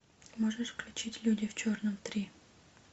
можешь включить люди в черном три